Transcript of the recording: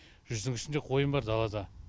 жүздің үстінде қойым бар далада